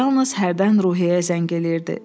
Yalnız hərdən Ruhiyyəyə zəng edirdi.